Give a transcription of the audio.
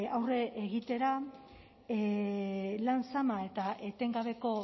aurre egitera lan zama eta etengabeko